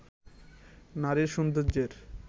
নারীর সৌন্দের্যের